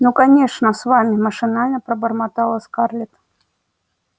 ну конечно с вами машинально пробормотала скарлетт